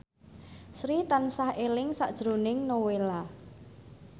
Sri tansah eling sakjroning Nowela